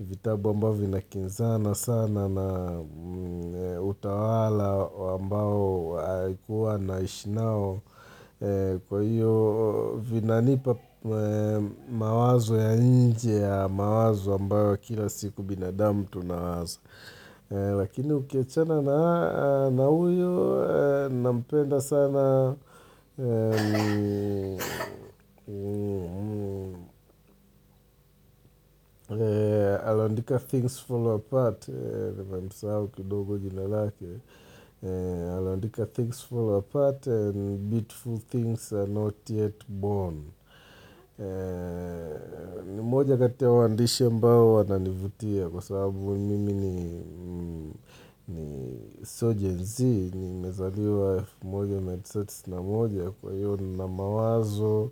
vitabu ambao vina kinzana sana na utawala ambao haikuwa naishinao kwa hiyo vinanipa mawazo ya nje ya mawazo ambao kila siku binadamu tunawaza. Lakini ukiachana na huyu nampenda sana Alaandika things fall apart Kwa msao kidogo jinalake Alaandika things fall apart and beautiful things are not yet born ni mmoja katia waandishe mbao wananivutia Kwa sababu mimi ni sio gen-z Nimezaliwa F1, F1, F3, Kwa hiyo na mawazo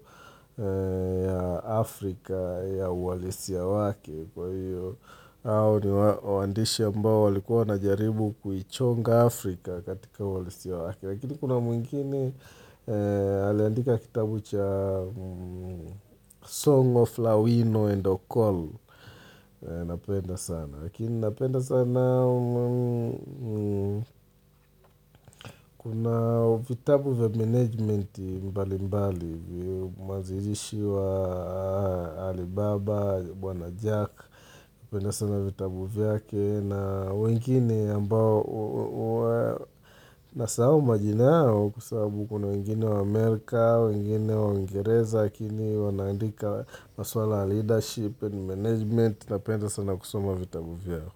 ya Afrika ya uwalisi ya wake Kwa hiyo, hao ni wandishi ambao walikuwa na jaribu kuichonga Afrika katika uhalisi ya wake Lakini kuna mwingine haliandika kitabu cha Song of Lawino and Ocol Napenda sana, lakini napenda sana, kuna vitabu vya management mbali mbali, mazirishi wa Alibaba, bwana Jack, napenda sana vitabu vyake na wengine ambao, na sahau majinao kwa sababu kuna wengine wa Amerika, wengine wa ngereza, lakini wanandika maswala leadership and management, na penda sana kusumo vitabu vyao.